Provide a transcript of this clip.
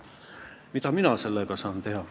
Mida mina teha saan?